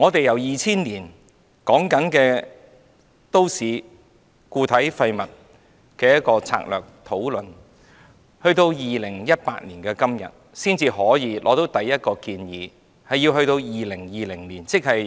由2000年開始討論都市固體廢物策略，及至2018年的今天，我們才得出第一個建議，而這個建議要到2020年才推行。